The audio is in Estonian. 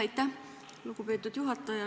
Aitäh, lugupeetud juhataja!